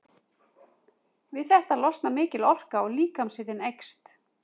Við þetta losnar mikil orka og líkamshitinn eykst.